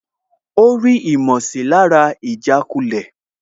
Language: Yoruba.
Ó rí ìmọ̀sílára ìjàkulẹ̀